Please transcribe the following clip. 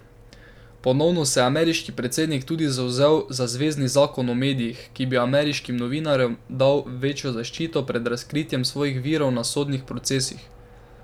Ponovno se je ameriški predsednik tudi zavzel za zvezni zakon o medijih, ki bi ameriški novinarjem dal večjo zaščito pred razkritjem svojih virov na sodnih procesih.